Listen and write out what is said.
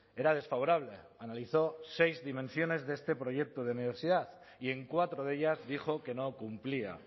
era desfavorable analizó seis dimensiones de este proyecto de universidad y en cuatro de ellas dijo que no cumplía